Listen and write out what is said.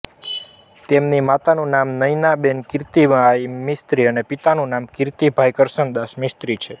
તેમની માતાનું નામ નયનાબેન કિર્તીભાઈ મિસ્ત્રી અને પિતાનું નામ કિર્તીભાઈ કરશનદાસ મિસ્ત્રી છે